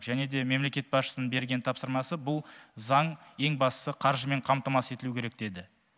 және де мемлекет басшысының берген тапсырмасы бұл заң ең бастысы қаржымен қамтамасыз етілуі керек деді